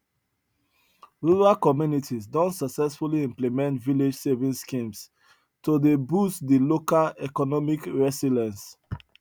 rural communities don successfully implement village saving schemes to dey boost de local economic resilience